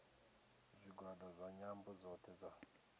zwigwada zwa nyambo dzothe dza